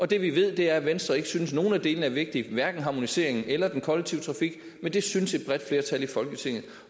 det vi ved er at venstre ikke synes at nogen af delene er vigtige hverken harmoniseringen eller den kollektive trafik men det synes et bredt flertal i folketinget